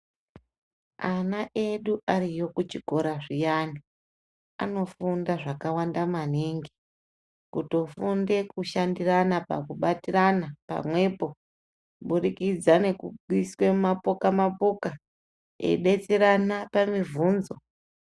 Ana edu ariyo kuchikora zviyani aanofunda zvakawanda maningi kutofunde kushandirana pakubatirana pamwepo kubudikidza ngekuiswa mumapoka mapoka eidetserana pamibvunzo.